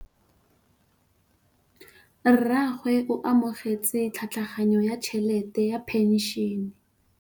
Rragwe o amogetse tlhatlhaganyô ya tšhelête ya phenšene.